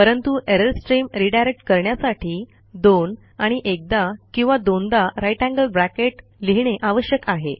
परंतु error stream redirect करण्यासाठी 2 आणि एकदा किंवा दोनदा ग्रेटर थान साइन लिहिणे आवश्यक आहे